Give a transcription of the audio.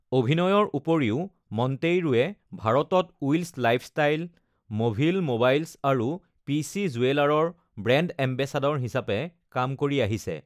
অভিনয়ৰ উপৰিও, মণ্টেইৰোৱে ভাৰতত উইলছ লাইফষ্টাইল, মভিল ম'বাইলছ আৰু পিচি জুৱেলাৰৰ ব্ৰেণ্ড এম্বেচেডৰ হিচাপে কাম কৰি আহিছে।